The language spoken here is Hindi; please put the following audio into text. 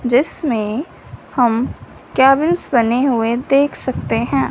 जिसमें हम केबिन्स बने हुए देख सकते हैं।